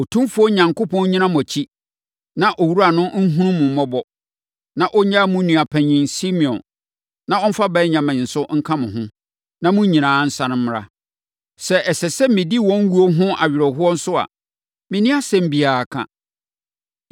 Otumfoɔ Onyankopɔn nnyina mo akyiri, na owura no nhunu mo mmɔbɔ, na ɔnnyaa mo nua panin Simeon, na ɔmfa Benyamin nso nka mo ho, na mo nyinaa nsane mmra. Sɛ ɛsɛ sɛ medi wɔn wuo ho awerɛhoɔ nso a, menni asɛm biara ka.”